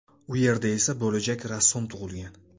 U yerda esa bo‘lajak rassom tug‘ilgan.